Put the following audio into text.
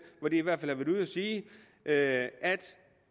hvor de har været ude at sige at